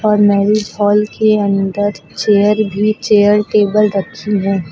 और marriage hall के अंदर चेयर ही चेयर टेबल रखी हैं।